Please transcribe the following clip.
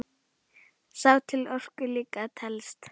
Sá til orku líka telst.